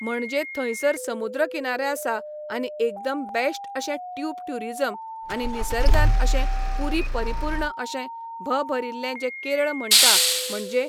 म्हणजे थंयसर समुद्र किनारे आसा आनी एकदम बेश्ट अशें ट्यूब ट्युरिजम आनी निसर्गान अशें पुरी परिपूर्ण अशें भ भरिल्लें जें केरळ म्हणटा म्हणजे